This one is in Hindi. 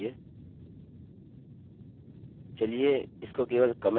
इसके साथ यहाँ पर शुरू करने के लिए चलिए इसको केवल कमेंट करते हैं